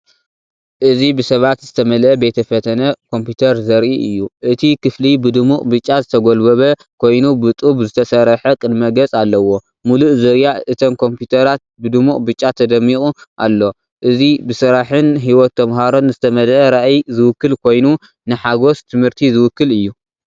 እዚ ብሰባት ዝተመልአ ቤተ ፈተነ ኮምፒተር ዘርኢ እዩ። እቲ ክፍሊ ብድሙቕ ብጫ ዝተጎልበበ ኮይኑ ብጡብ ዝተሰርሐ ቅድመ-ገጽ ኣለዎ። ምሉእ ዙርያ እተን ኮምፒዩተራት ብድሙቕ ብጫ ተደሚቑ ኣሎ። እዚ ብስራሕን ህይወት ተመሃሮን ዝተመልአ ራእይ ዝውክል ኮይኑ፡ንሓጎስ ትምህርቲ ዝውክል እዩ።